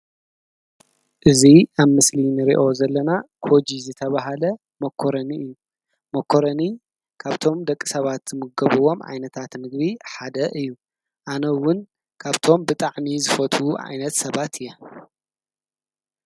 እዚ ኣብ ምስሊ እንሪኦ ዘለና ኮጂ ዝተበሃለ ሞኮረኒ እዩ። ሞኮረኒ ካብቶም ደቂ ሰባት ዝምገብዎም ዓይነታት ምግቢ ሓደ እዩ። ኣነ እውን ካብቶም ብጣዕሚ ዝፈትው ዓይነት ሰባት እየ።